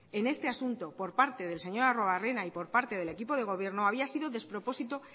en este asunto por parte del señor arruebarrena y por parte del equipo de gobierno había sido despropósito